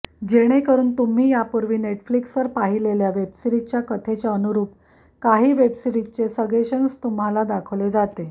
जेणेकरुन तुम्ही यापूर्वी नेटफ्लिक्सवर पाहिलेल्या वेबसीरिजच्या कथेच्या अनुरुप काही वेबसीरिजचे सगेशन्स तुम्हाला दाखवले जाते